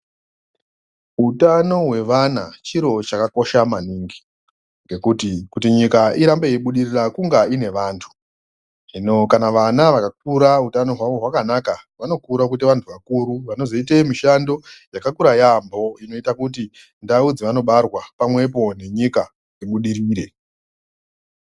Utano wevana chiro chakakosha maningi ngekuti kuti nyika irambe yeibudirira kunga ine vantu hino kana vana vakakura utano wavo wakanaka vanokura kuita vantu vakuru vanozoite mishando yakakura yaemho inoita kuti ndau dzavanobarwa pamwepo nenyika zvibudirire.